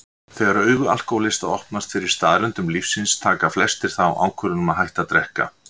Þegar augu alkohólista opnast fyrir staðreyndum lífsins taka flestir þá ákvörðun að hætta að drekka.